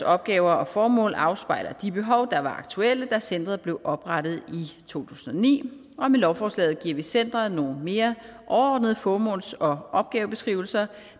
opgaver og formål afspejler de behov der var aktuelle da centeret blev oprettet i to tusind og ni og med lovforslaget giver vi centeret nogle mere overordnede formåls og opgavebeskrivelser